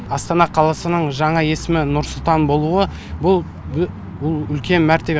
астана қаласының жаңа есімі нұр сұлтан болуы бұл бұл үлкен мәртебе